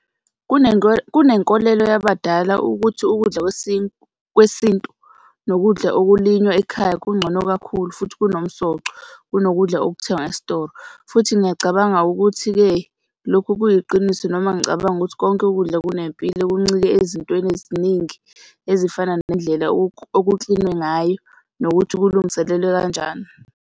Kunenkolelo yabadala ukuthi ukudla kwesintu nokudla okulinywa ekhaya kungcono kakhulu futhi kunomsoco kunokudla okuthengwa esitolo. Futhi ngiyacabanga ukuthi-ke lokhu kuyiqiniso noma ngicabanga ukuthi konke ukudla kunempilo, kuncike ezintweni eziningi ezifana nendlela okuklinwe ngayo nokuthi kulungiselelwe kanjani.